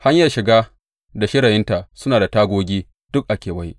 Hanyar shiga da shirayinta suna da tagogi duk a kewaye.